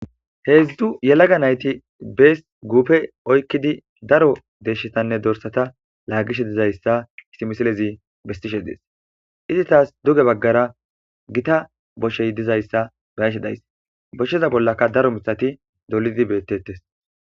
Heedzdu yelaga nayti bees guupe oykkidi daro deeshshetanne dorsata laagishe dizayssa issimisilezi bestishe dees izi taas duge baggara gita boshey dizayssa bayashe days boshsheza bollaka daro mitati dolidi beettettes.